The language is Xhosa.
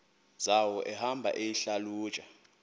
zawo ehamba eyihlalutya